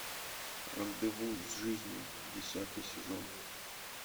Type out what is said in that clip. рандеву с жизнью десятый сезон